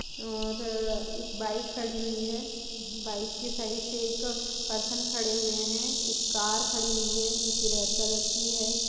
और एक बाइक खड़ी हुई है बाइक के साइड से एक पर्सन खड़े हुए हैं एक कार खड़ी हुई है जो की रेड कलर की है।